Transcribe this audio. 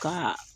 Ka